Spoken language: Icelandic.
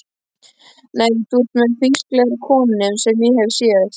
Nei, þú ert með frísklegri konum sem ég hef séð.